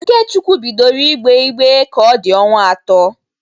Ikechukwu bidoro ígbeé ìgbè ka ọ dị ọnwa atọ.